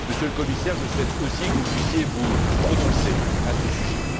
Monsieur le Commissaire, je souhaite aussi que vous puissiez vous prononcer à ce sujet.